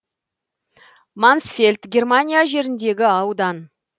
мансфельд германия жеріндегі аудан